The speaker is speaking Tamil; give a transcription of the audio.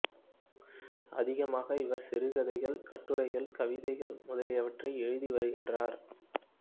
அதிகமாக இவர் சிறுகதைகள் கட்டுரைகள் கவிதைகள் முதலியவற்றை எழுதி வருகின்றார்